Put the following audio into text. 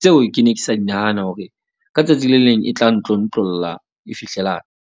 tseo ke ne ke sa di nahana hore ka tsatsi le leng e tla ntlontlolla e fihlelang.